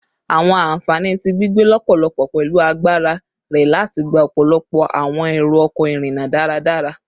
Awọn anfani ti gbigbe lọpọlọpọ pẹlu agbara rẹ lati gba ọpọlọpọ awọn ero-ọkọ irinna daradara